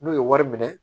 N'u ye wari minɛ